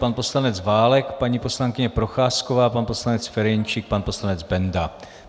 Pan poslanec Válek, paní poslankyně Procházková, pan poslanec Ferjenčík, pan poslanec Benda.